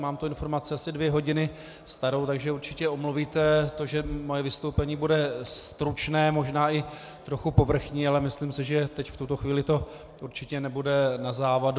Mám tu informaci asi dvě hodiny starou, takže určitě omluvíte to, že moje vystoupení bude stručné, možná i trochu povrchní, ale myslím si, že teď, v tuto chvíli, to určitě nebude na závadu.